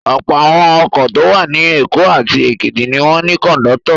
Ọ̀pọ̀ àwọn ọkọ̀ tó wà ní Èkó àti Èkìtì ni wọ́n ní kọ̀ńdọ́tọ̀.